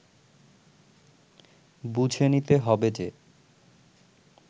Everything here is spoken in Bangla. বুঝে নিতে হবে যে